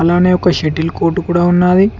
అలానే ఒక settle court కూడా ఉన్నాది.